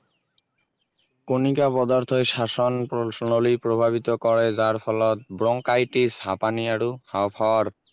কণিকা পদাৰ্থই শ্বাসন নলী প্ৰভাৱিত কৰে যাৰ ফলত bronchitis হাপানি আৰু হাঁও-ফাঁওৰ